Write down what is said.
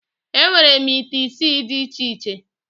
Enwere m ite isii dị iche iche